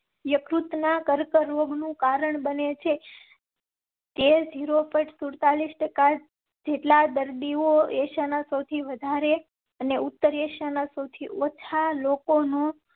યકૃત ના કર્કરોગ નું કારણ બને છે. તે zero point સુડતાલીસ ટકા જેટલા દર્દીઓ એશિયા ના સૌથી વધારે અને ઉત્તર એશિયા ના સૌથી ઓછા લોકો નો